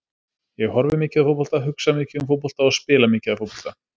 Ég horfi mikið á fótbolta, hugsa mikið um fótbolta og spila mikið af fótbolta.